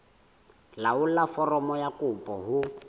laolla foromo ya kopo ho